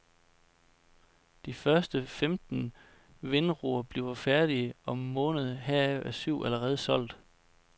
De første femten vindror bliver færdige om en måned, heraf er de syv allerede solgt.